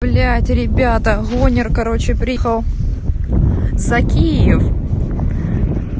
блять ребята гонер короче приехал за киев